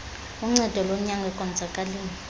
uncedo lonyango ekonzakaleni